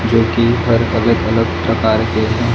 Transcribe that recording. जोकि हर अलग अलग प्रकार के हैं।